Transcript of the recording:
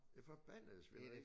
Det forbandede svineri